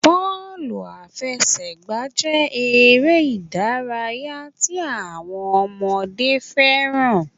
Bọ́ọ̀lù àfẹsẹ̀gbá jé eré ìdárayá tí àwọn ọmọdé fẹ́ràn